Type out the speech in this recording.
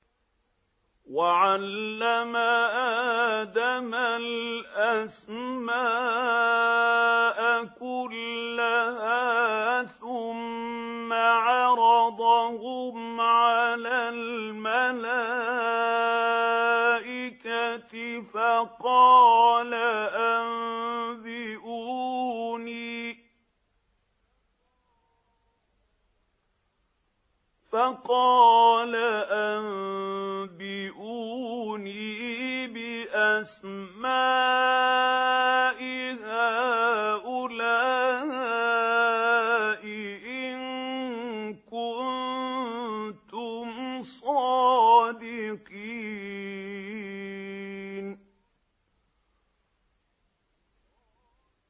وَعَلَّمَ آدَمَ الْأَسْمَاءَ كُلَّهَا ثُمَّ عَرَضَهُمْ عَلَى الْمَلَائِكَةِ فَقَالَ أَنبِئُونِي بِأَسْمَاءِ هَٰؤُلَاءِ إِن كُنتُمْ صَادِقِينَ